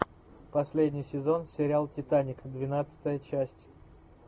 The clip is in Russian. последний сезон сериал титаник двенадцатая часть